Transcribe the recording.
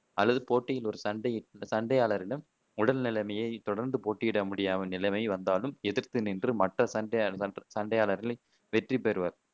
அல்லது போட்டியில் ஒரு சண்டை சண்டையாளரிடம் உடல் நிலைமை தொடர்ந்து போட்டியிட முடியாம நிலைமை வந்தாலும் எதிர்த்து நின்று மற்ற சண்டையாளர் வெற்றி பெறுவர்.